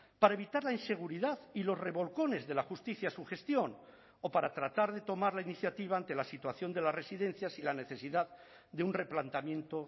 para evitar la inseguridad y los revolcones de la justicia a su gestión o para tratar de tomar la iniciativa ante la situación de las residencias y la necesidad de un replanteamiento